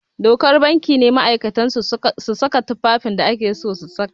Dokar banki ne ma'aikatan su su saka tufafin da ake so su saka